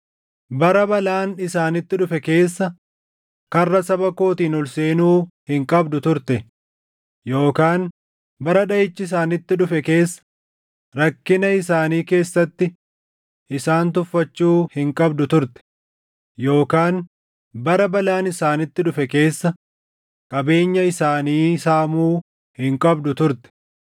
Bara balaan isaanitti dhufe keessa karra saba kootiin ol seenuu hin qabdu turte; yookaan bara dhaʼichi isaanitti dhufe keessa rakkina isaanii keessatti isaan tuffachuu hin qabdu turte; yookaan bara balaan isaanitti dhufe keessa qabeenya isaanii saamuu hin qabdu turte.